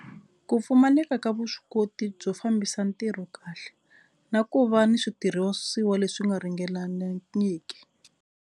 Ku pfumaleka ka vuswikoti byo fambisa ntirho kahle na ku va ni switirhisiwa leswi nga .